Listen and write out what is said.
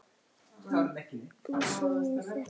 Þú þegir í þetta sinn!